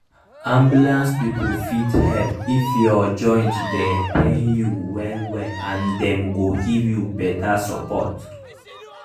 ambulance people fit help if your joint dey pain you well well and dem go give you better support.